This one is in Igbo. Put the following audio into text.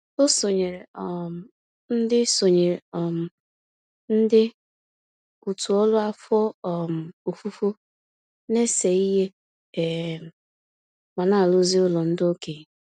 O sonyeere um ndị sonyeere um ndị òtù ọrụ afọ um ofufo na-ese ihe um ma na-arụzi ụlọ ndị okenye.